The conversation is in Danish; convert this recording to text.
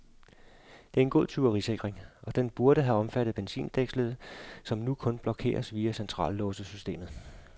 Det er en god tyverisikring, og den burde have omfattet benzindækslet, som nu kun blokeres via centrallåssystemet.